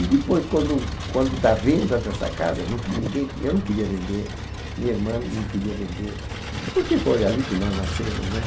E depois, quando quando dá a venda dessa casa, nunc ninguém, eu não queria vender, minha irmã não queria vender, porque foi ali que nós nascemos.